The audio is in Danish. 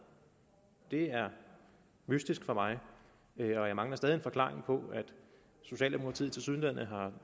det er mystisk for mig og jeg mangler stadig en forklaring på at socialdemokratiet tilsyneladende